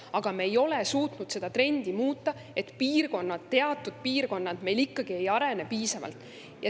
Aga me ei ole suutnud muuta seda trendi, et teatud piirkonnad meil ikkagi ei arene piisavalt.